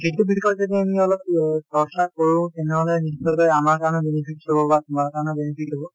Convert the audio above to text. সেইটো বিষয় যদি আমি অলপ য়ে চৰ্চা কৰোঁ তেনেহলে নিশ্চয় কৈ আমাৰ কাৰনে benefit কৰিব বা তোমাৰ কাৰণেও benefit হব।